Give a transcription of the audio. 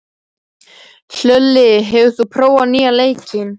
Hlölli, hefur þú prófað nýja leikinn?